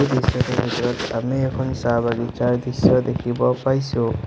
দৃশ্যটোৰ ভিতৰত আমি এখন চাহ বাগিছাৰ দৃশ্য দেখিব পাইছোঁ।